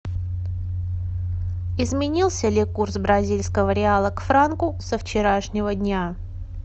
изменился ли курс бразильского реала к франку со вчерашнего дня